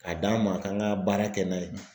K'a d'a ma k'an ka baara kɛ n'a ye.